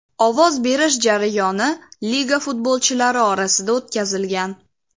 Ovoz berish jarayoni liga futbolchilari orasida o‘tkazilgan.